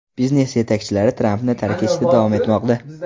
Biznes yetakchilari Trampni tark etishda davom etmoqda.